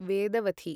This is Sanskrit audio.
वेदवथि